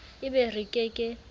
e be re ke ke